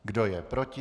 Kdo je proti?